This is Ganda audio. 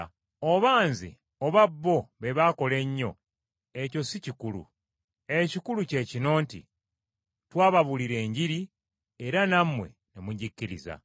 Oba nze oba bo, be baakola ennyo ekyo si kikulu, ekikulu kye kino nti twababuulira Enjiri era nammwe ne mugikkiriza.